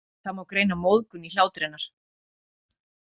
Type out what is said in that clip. Það má greina móðgun í hlátri hennar.